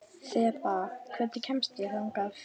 Þeba, hvernig kemst ég þangað?